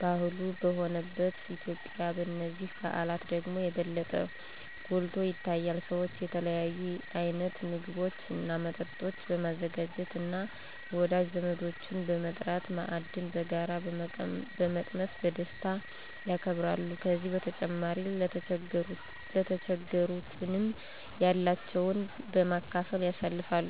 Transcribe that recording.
ባህሏ በሆነባት ኢትዮጲያ በነዚህ በዓላት ደግሞ የበለጠ ጐልቶ ይታያል። ሰዎች የተለያዩ አይነት ምግቦች እና መጠጦችን በማዘጋጃት እና ወዳጅ ዘመዶችን በመጥራት ማዕድን በጋራ በመቅመስ በደስታ ያከብራሉ። ከዚህ በተጨማሪ ለተቸገሩትንም ያላቸውን በማካፈል ያሳልፍሉ።